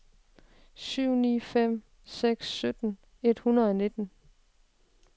syv ni fem seks sytten et hundrede og nitten